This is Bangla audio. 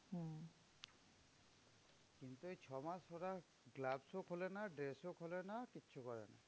কিন্তু এই ছ মাস ওরা gloves ও খোলে না, dress ও খোলে না কিচ্ছু করে না।